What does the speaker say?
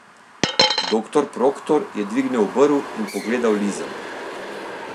Doktor Proktor je dvignil obrv in pogledal Lizo.